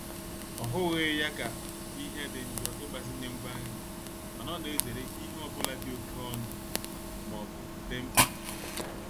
Ọhughi ya ka nhe di njo ịgbazinye ngwa nri mana ọ na-ezere ihe ọ bụla dị oke ọnụ ma ọ bụ dị mkpa.